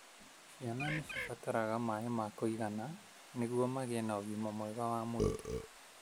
Ciana nĩcibataraga maĩ ma kũigana nĩgũo magĩe na ũgima mwega wa mwĩri.